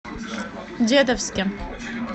дедовске